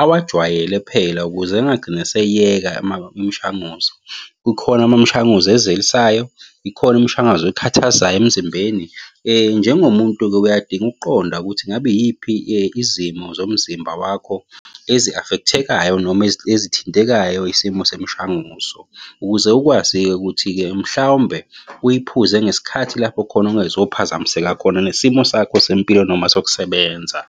awajwayele phela ukuze engagcine eseyiyeka imishanguzo. Kukhona amamshanguzo ezelisayo, ikhona imishanguzo ekhathazayo emzimbeni. Njengomuntu-ke uyadinga ukuqonda ukuthi ngabe iyiphi izimo zomzimba wakho ezi-affect-ekayo noma ezithintekayo isimo semishanguzo, ukuze ukwazi-ke ukuthi-ke mhlawumbe uyiphuze ngesikhathi lapho khona ungezophazamiseka khona nesimo sakho sempilo noma sokusebenza.